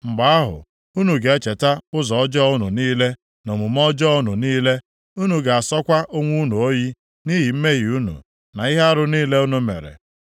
Mgbe ahụ, unu ga-echeta ụzọ ọjọọ unu niile na omume ọjọọ unu niile, unu ga-asọkwa onwe unu oyi nʼihi mmehie unu na ihe arụ niile unu mere.